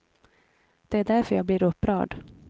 Det är därför jag blir upprörd.